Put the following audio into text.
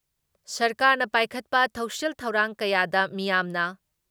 ꯁꯔꯀꯥꯥꯔꯅ ꯄꯥꯏꯈꯠꯄ ꯊꯧꯁꯤꯜ ꯊꯧꯔꯥꯡ ꯀꯌꯥꯗ ꯃꯤꯌꯥꯝꯅ